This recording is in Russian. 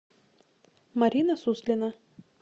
марина суслина